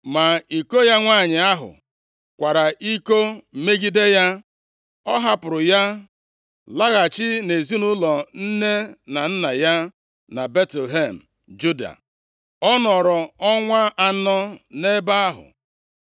Ma iko ya nwanyị ahụ kwara iko megide ya. Ọ hapụrụ ya laghachi nʼezinaụlọ nne na nna ya na Betlehem, Juda. Ọ nọrọ ọnwa anọ nʼebe ahụ.